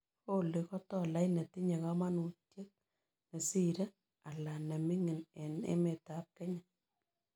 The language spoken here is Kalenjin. Olly ko tolait netinye kamanutiek nesiire ala ne ming'in eng' emetap kenya